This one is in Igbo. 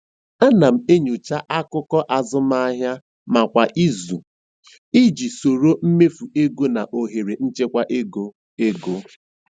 Ana m enyocha akụkọ azụmahịa m kwa izu iji soro mmefu ego na ohere nchekwa ego. ego.